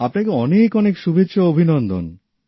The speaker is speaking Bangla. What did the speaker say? আপনাকে অনেক অনেক শুভেচ্ছা ও অভিনন্দন